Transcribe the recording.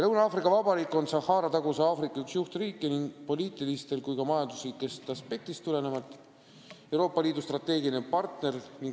Lõuna-Aafrika Vabariik on Sahara-taguse Aafrika üks juhtriike ning nii poliitilistest kui ka majanduslikest aspektidest tulenevalt Euroopa Liidu strateegiline partner.